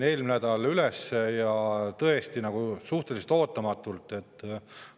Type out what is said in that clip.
Eelmine nädal tuli tõesti suhteliselt ootamatult üles Jõhvi kohtumaja juhtum.